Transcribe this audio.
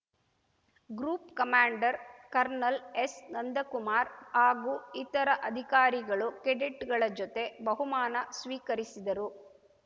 group commander kernel ಎಸ್‌ನಂದಕುಮಾರ್‌ ಹಾಗೂ ಇತರ ಅಧಿಕಾರಿಗಳು ಕೆಡೆಟ್‌ಗಳ ಜೊತೆ ಬಹುಮಾನ ಸ್ವೀಕರಿಸಿದರು